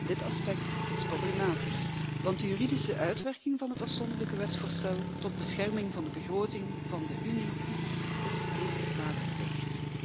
Dit aspect is problematisch, want de juridische uitwerking van het afzonderlijke wetsvoorstel tot bescherming van de begroting van de Unie is niet waterdicht.